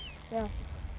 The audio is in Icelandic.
já